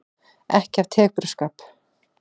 Ekki af tepruskap.